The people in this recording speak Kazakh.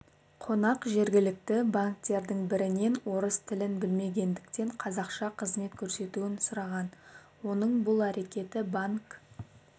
қонақ жергілікті банктердің бірінен орыс тілін білмегендіктен қазақша қызмет көрсетуін сұраған оның бұл әрекеті банк